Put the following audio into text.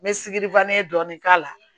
N bɛ sigi dɔɔnin k'a la